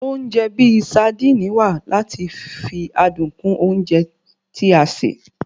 Oúnjẹ bíi saandíìnì wa lati fi adun kún oúnjẹ tí a ṣe